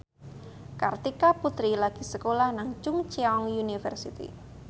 Kartika Putri lagi sekolah nang Chungceong University